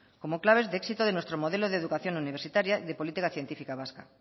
como claves de éxito de nuestro modelo de educación universitaria y de política científica vasca